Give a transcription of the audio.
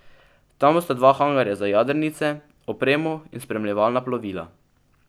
Tam bosta dva hangarja za jadrnice, opremo in spremljevalna plovila.